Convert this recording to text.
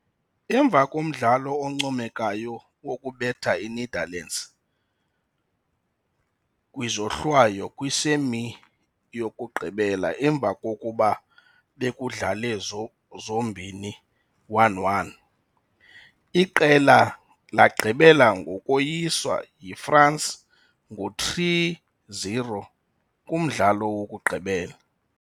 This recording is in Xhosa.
Emva komdlalo oncomekayo wokubetha iNetherlands kwizohlwayo kwi-semi-yokugqibela emva kokuba bekudlale zombini 1-1. Iqela lagqibela ngokoyiswa yiFrance ngo3-0 kumdlalo wokugqibela.